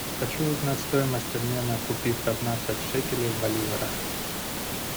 хочу узнать стоимость обмена купив пятнадцать шекелей в боливарах